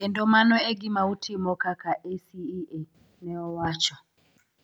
Kendo mano e gima utimo kaka ACEA", ne owacho.